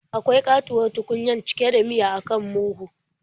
Akwai ƙatuwar tukunya cike da miya a kan murhun.